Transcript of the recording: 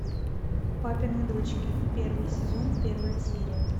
папины дочки первый сезон первая серия